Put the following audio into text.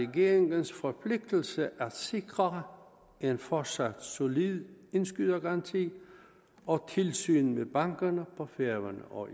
regeringens forpligtelse at sikre en fortsat solid indskydergaranti og tilsyn med bankerne på færøerne og